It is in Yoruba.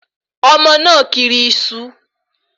Ọmọ náà kiri iṣu